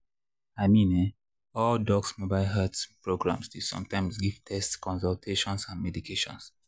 i mean[um]all dox mobile health programs dey sometimes give tests consultations and medication.